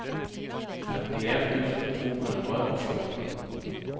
femtien tusen to hundre og fjorten